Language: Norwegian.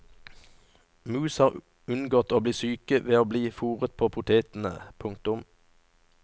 Mus har unngått å bli syke ved å bli foret på potetene. punktum